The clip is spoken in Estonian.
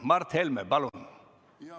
Mart Helme, palun!